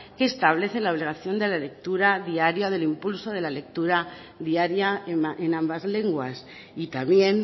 que establecen la obligación de la lectura diaria del impulso de la lectura diaria en ambas lenguas y también